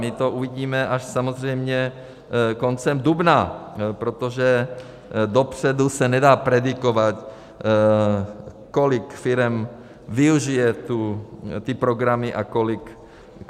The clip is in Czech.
My to uvidíme až samozřejmě koncem dubna, protože dopředu se nedá predikovat, kolik firem využije ty programy a kolik ne.